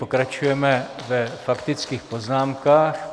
Pokračujeme ve faktických poznámkách.